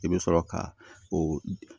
I bɛ sɔrɔ ka o